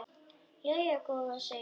Jæja góða, segir hann.